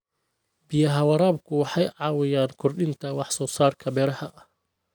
Biyaha waraabku waxay caawiyaan kordhinta wax soo saarka beeraha.